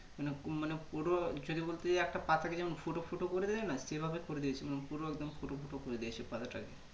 মানে মানে পুরো যদি বলতে যাই একটা পাতাকে যেমন ফুটো ফুটো করা দেয় না সেই ভাবে করে দিয়েছিল পুরো একদম ফুটো ফুটো করে দিয়েছে পাতাটাকে